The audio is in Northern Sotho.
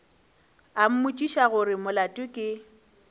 a mmotšiša gore molato ke